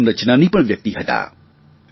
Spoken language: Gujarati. તેઓ સંરચનાની પણ વ્યકિત હતા